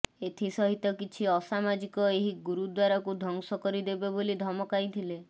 ଏଥିସହିତ କିଛି ଅସାମାଜିକ ଏହି ଗୁରୁଦ୍ୱାରକୁ ଧ୍ୱଂସ କରିଦେବେ ବୋଲି ଧମକାଇଥିଲେ